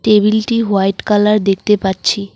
টেবিলটি white colour দেখতে পাচ্ছি।